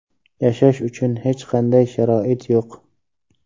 Yashash uchun hech qanday sharoit yo‘q.